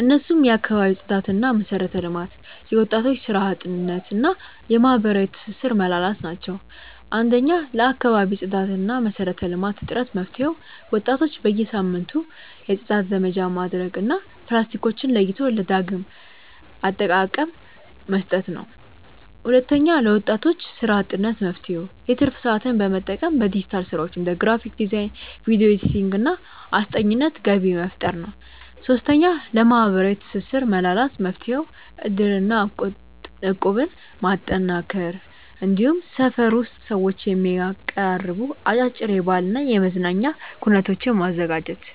እነሱም የአካባቢ ጽዳትና መሰረተ ልማት፣ የወጣቶች ስራ አጥነት እና የማህበራዊ ትስስር መላላት ናቸው። 1. ለአካባቢ ጽዳትና መሰረተ ልማት እጥረት መፍትሄው፦ ወጣቶች በየሳምንቱ የጽዳት ዘመቻ ማድረግ እና ፕላስቲኮችን ለይቶ ለዳግም አጠቃቀ መስጠት ነው። 2. ለወጣቶች ስራ አጥነት መፍትሄው፦ የትርፍ ሰዓትን በመጠቀም በዲጂታል ስራዎች (እንደ ግራፊክ ዲዛይን፣ ቪዲዮ ኤዲቲንግ) እና አስጠኚነት ገቢ መፍጠር ነው። 3. ለማህበራዊ ትስስር መላላት መፍትሄው፦ እድርና እቁብን ማጠናከር፣ እንዲሁም ሰፈር ውስጥ ሰዎችን የሚያቀራርቡ አጫጭር የባህልና የመዝናኛ ኩነቶችን ማዘጋጀት።